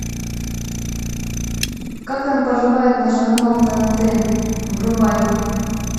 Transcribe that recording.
как там поживает наш канал тнт врубай